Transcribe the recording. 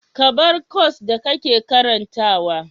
Ka bar kwas da kake karantawa.